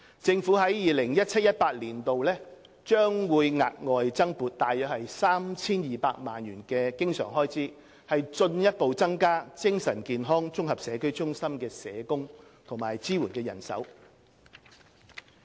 政府在 2017-2018 年度將額外增撥約 3,200 萬元經常開支，進一步增加精神健康綜合社區中心的社工及支援人手。